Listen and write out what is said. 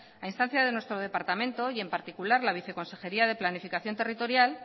a instancias de nuestro departamento y en particular la viceconsejería de planificación territorial